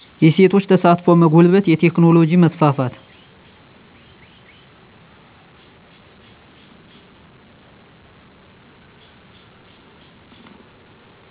የሴቶች ተሳትፎ መጎልበት የቴክኖሎጂ መስፋፋት